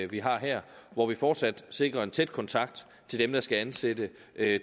vi har her hvor vi fortsat sikrer en tæt kontakt til dem der skal ansætte